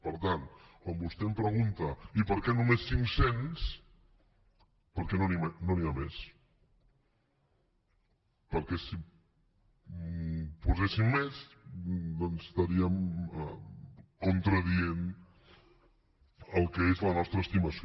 per tant quan vostè em pregunta i per què només cinc cents perquè no n’hi ha més perquè si en poséssim més doncs estaríem contradient el que és la nostra estimació